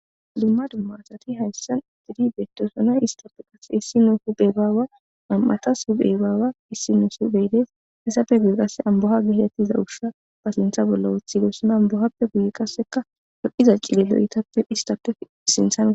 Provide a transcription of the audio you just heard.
Dumma dumma asrati hayssan ididi bettosona istappe qasse issi nu huphe baawa am'atas huphebaawa issi nu subeydes hissafe guye qasse amboha gitettiza usha ba sintha bolla wuthigesona ambohappe guye qasseka hoqiza cilelo'itappe istape sinthane.